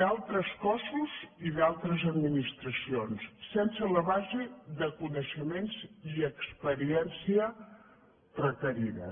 d’altres cossos i d’altres administracions sense la base de coneixements i experiència requerida